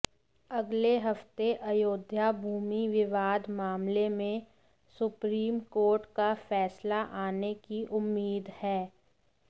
अगले हफ्ते अयोध्या भूमि विवाद मामले में सुप्रीम कोर्ट का फैसला आने की उम्मीद है